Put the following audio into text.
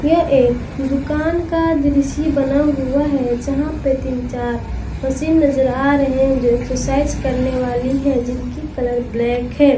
यह एक दुकान का दृश्य बना हुआ है जहां पर तीन चार मशीन नजर आ रहे हैं जो एक्सरसाइज करने वाली है जिनकी कलर ब्लैक है।